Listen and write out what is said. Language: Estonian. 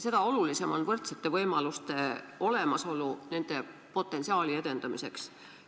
Seda olulisem on võrdsete võimaluste olemasolu nende potentsiaali edendamiseks.